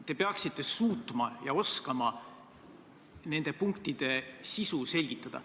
Te peaksite suutma ja oskama nende punktide sisu selgitada.